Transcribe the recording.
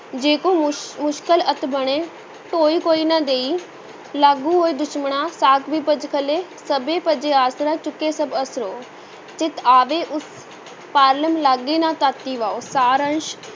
ਜੇ ਕਉ ਮੁਸ~ ਮੁਸ਼ਕਲ ਅਤਿ ਬਣੇ, ਢੋਈ ਕੋਇ ਨਾ ਦੇਇ ਲਾਗੂ ਹੋਇ ਦੁਸ਼ਮਣਾਂ ਸਾਕ ਭਿ ਭਜ ਖਲੈ ਸਭੇ ਭਜੈ ਆਸਰਾ, ਚੁਕੇ ਸਭ ਅਸਰਾਉ, ਚਿਤਿ ਆਵੈ ਉਸ ਪਾਰਲੂਮ ਲਗੈ ਨਾ ਤਤੀ ਵਾਉ, ਸਾਰ ਅੰਸ਼